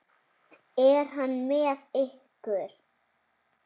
Er hann með ykkur?